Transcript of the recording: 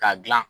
K'a dilan